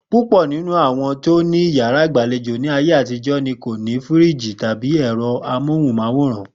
Púpò̩ nínú àwo̩n tó ní yàrá ìgbàlejò ní ayé àtijó̩ ni kò ní fíríìjì tàbí è̩ro̩ amóhùn-máwòrán